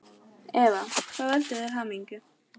Eva: Hvað veldur þér hamingju?